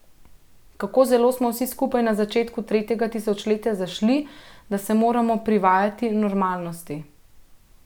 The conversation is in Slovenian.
Kako zelo smo vsi skupaj na začetku tretjega tisočletja zašli, da se moramo privajati normalnosti.